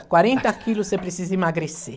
quarenta quilos, você precisa emagrecer.